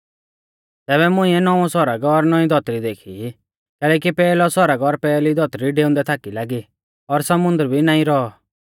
तैबै मुंइऐ नौंउऔ सौरग और नौंउई धौतरी देखी कैलैकि पैहलौ सौरग और पैहली धौतरी डेउंदै थाकी लागी और समुन्दर भी नाईं रौऔ